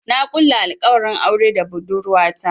Na kulla alkawarin aure da budurwata.